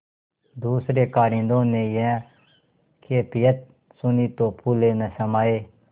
दूसरें कारिंदों ने यह कैफियत सुनी तो फूले न समाये